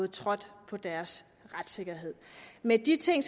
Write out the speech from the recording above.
trådt på deres retssikkerhed med de ting